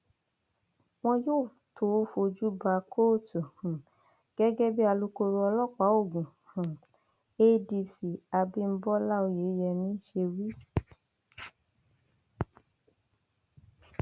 wọn yóò tóó fojú ba kóòtù um gẹgẹ bí alūkkóró ọlọpàá ogun um adc abibọlá oyemi ṣe wí